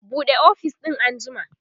buɗe ofis din an jima!